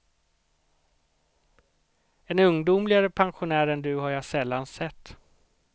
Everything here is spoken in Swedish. En ungdomligare pensionär än du har jag sällan sett.